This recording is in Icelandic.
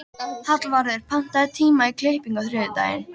Hallvarður, pantaðu tíma í klippingu á þriðjudaginn.